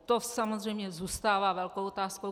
To samozřejmě zůstává velkou otázkou.